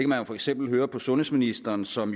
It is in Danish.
man for eksempel høre på sundhedsministeren som